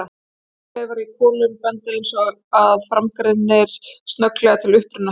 Plöntuleifar í kolum benda, eins og að framan greinir, glögglega til uppruna þeirra.